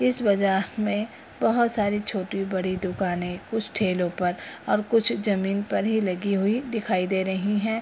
इस बाजार में बहुत सारी छोटी-बड़ी दुकाने कुछ ठेलो पर और कुछ जमीन पर ही लगी हुई दिखाई दे रही हैं।